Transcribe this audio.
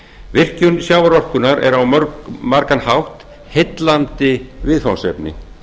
virkjun sjávarorkunnar er á margan hátt heillandi viðfangsefni